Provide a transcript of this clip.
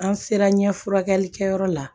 An sera ɲɛf furakɛlikɛyɔrɔ la